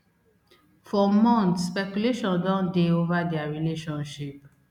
for months speculation don dey over dia relationship